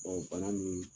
bana min